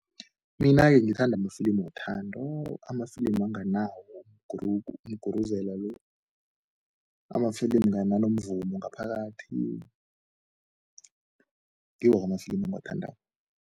Mina-ke ngithanda amafilimi wothando, amafilimi anganawo ukuguruzela lo, amafilimi anomvumo ngaphakathi, ngiwo amafilimu engiwathandako.